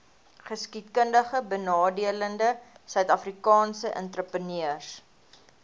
geskiedkundigbenadeelde suidafrikaanse entrepreneurs